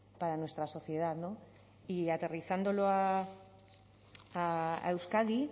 para nuestra sociedad y aterrizándolo a euskadi